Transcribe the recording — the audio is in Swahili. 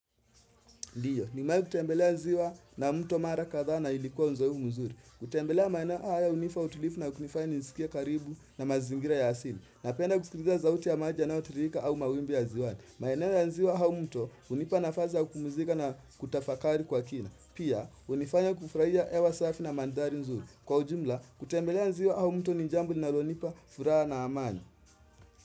Ndiyo, nimewahi kutembelea ziwa na mto mara kadhaa na ilikuwa uzoefu mzuri. Kutembelea maeneo haya hunipa utulivu na kunifanya nisikie karibu na mazingira ya asili. Napenda kusikiliza sauti ya maji yanayotiririka au mawimbi ya ziwani. Maeneo ya ziwa au mto hunipa nafasi ya kupumzika na kutafakari kwa kina. Pia, hunifanya kufurahia hewa safi na mandhari nzuri. Kwa ujumla, kutembelea ziwa au mto ni jambo linalonipa furaha na amani.